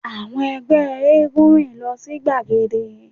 Àwọn ẹgbẹ́ éégún rìn lọ sí gbagede